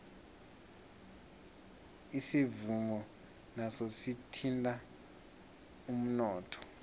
isivuno naso sithinta umnotho